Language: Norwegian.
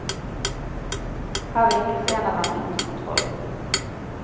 Her vinkes en av dem inn til kontroll.